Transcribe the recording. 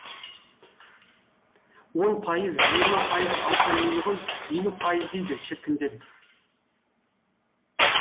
он пайыз жиырма пайыз алса мейлі ғой елу пайыз дейді шіркіндер